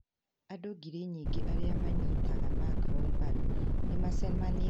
Andũ ngiri nyingĩ arĩa manyitaga Macron mbaru nĩ maacemanĩtie taũni-inĩ ya Paris. Makĩambararia bendera.